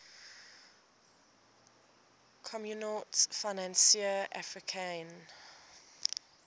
communaute financiere africaine